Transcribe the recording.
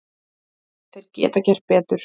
Þeir geta gert betur.